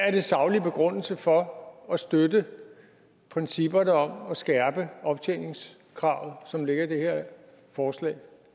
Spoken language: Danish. er den saglige begrundelse for at støtte principperne om at skærpe optjeningskravet som ligger i det her forslag